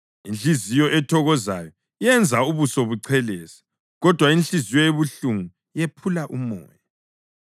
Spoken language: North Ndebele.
Inhliziyo ethokozayo yenza ubuso buchelese, kodwa inhliziyo ebuhlungu yephula umoya.